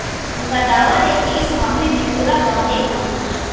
उनका दावा है कि इस मामले में पूरा गांव एकमत है